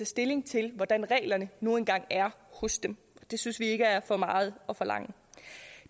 stilling til hvordan reglerne nu engang er hos dem det synes vi ikke er for meget at forlange